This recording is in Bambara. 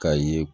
K'a ye